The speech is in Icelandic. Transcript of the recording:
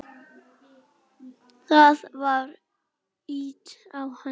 Það var ýtt á hann.